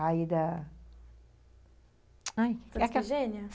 Aí da... aí...